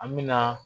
An me na